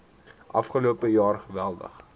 afgelope jaar geweldig